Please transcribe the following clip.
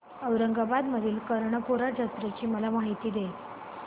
औरंगाबाद मधील कर्णपूरा जत्रेची मला माहिती दे